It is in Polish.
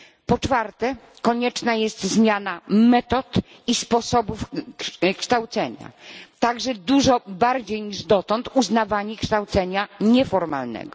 Po czwarte konieczna jest zmiana metod i sposobów kształcenia, także dużo większe niż dotąd uznawanie kształcenia nieformalnego.